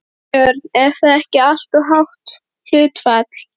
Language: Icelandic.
Björn: Er það ekki alltof hátt hlutfall?